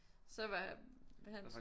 så var han